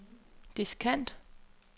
diskant